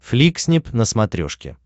фликснип на смотрешке